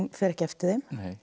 fer ekki eftir þeim